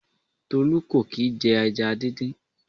Tolu kò kì i jẹ ẹja díndín.